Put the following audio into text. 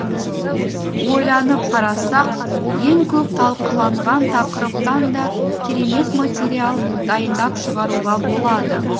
ойланып қарасақ ең көп талқыланған тақырыптан да керемет материал дайындап шығаруға болады